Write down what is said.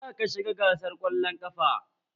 Za ka shiga gasar kwallon ƙafa!